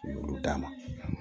Olu d'a ma